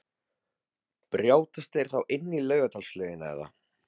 Brjótast þeir þá inn í Laugardalslaugina eða?